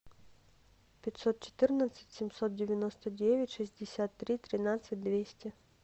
пятьсот четырнадцать семьсот девяносто девять шестьдесят три тринадцать двести